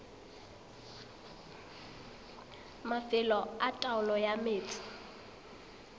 mafelo a taolo ya metsi